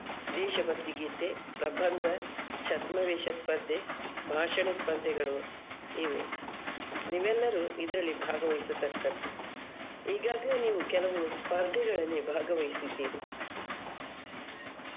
ದೇಶಭಕ್ತಿ ಗೀತೆ, ಪ್ರಬಂಧ, ಛದ್ಮವೇಚ ಸ್ಪರ್ಧೆ, ಭಾಷಣ ಸ್ಪರ್ಧೆಗಳು ಇವೆ ನೀವೆಲ್ಲರೂ ಇದ್ರಲ್ಲಿ ಭಾಗವಹಿಸತಕ್ಕದ್ದು ಈಗಾಗ್ಲೇ ನೀವು ಕೆಲವು ಸ್ಪರ್ಧೆಗಳಲ್ಲಿ ಭಾಗವಹಿಸಿದ್ದೀರಿ .